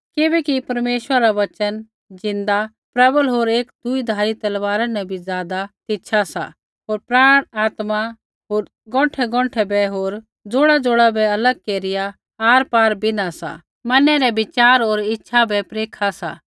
किबैकि परमेश्वरा रा वचन ज़िन्दा प्रबल होर हर एक दोधारी तलवारी न बी ज़ादा तिछा सा होर प्राण आत्मा गोंठैगोंठै बै होर जोड़ाजोड़ा बै अलग केरिया आरपार बिन्हा सा होर मनै रै विचार होर इच्छा बै परखा सा